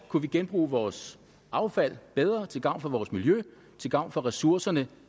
kunne genbruge vores affald bedre til gavn for vores miljø til gavn for ressourcerne